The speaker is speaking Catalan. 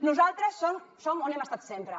nosaltres som on hem estat sempre